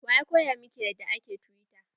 Wa ya koya miki yadda ake tiwita?